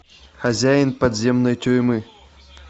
хозяин подземной тюрьмы